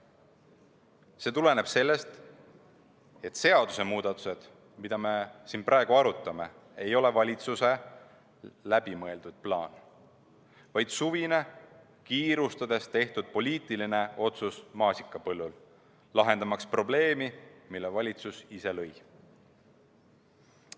See tuleneb sellest, et seadusemuudatused, mida me siin praegu arutame, ei ole valitsuse läbimõeldud plaan, vaid suvel kiirustades maasikapõllul tehtud poliitiline otsus, lahendamaks probleemi, mille valitsus ise lõi.